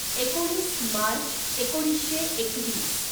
एकोणीस मार्च एकोणीसशे एकवीस